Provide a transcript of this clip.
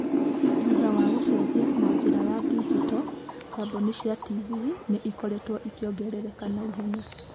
Thutha wa gũcenjia na njĩra ya digito, kambuni cia TV nĩ ikoretwo ikĩongerereka na ihenya.